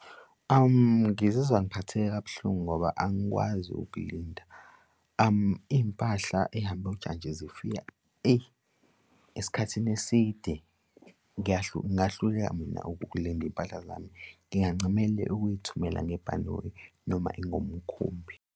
Ngizizwa ngiphatheke kabuhlungu ngoba angikwazi ukulinda iy'mpahla ey'hamba kujantshi zifika, eyi, esikhathini eside ngingahlukahluka mina ukulinda iy'mpahla zami ngingancamela ukuy'thumela ngebhanoyi noma ingomkhumbi.